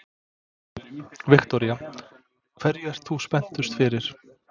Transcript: Viktoría: Hverju ert þú spenntust fyrir?